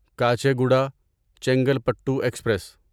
Kacheguda Chengalpattu express